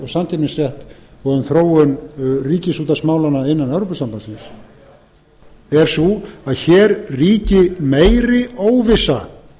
og samkeppnisrétt og um þróun ríkisútvarpsmálanna innan evrópusambandsins er sú að hér ríki meiri óvissa